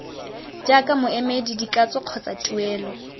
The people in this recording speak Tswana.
jaaka moemedi dikatso kgotsa tuelo